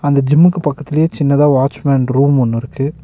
அந்த ஜிம்க்கு பக்கத்துலயே சின்னதா வாட்ச் மேன் ரூம் ஒன்னு இருக்கு.